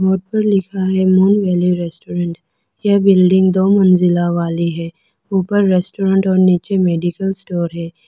Board पर लिखा है मोन वैली रेस्टोरेंट यह बिल्डिंग दो मंजिला वाली है ऊपर रेस्टोरेंट और नीचे मेडिकल स्टोर है।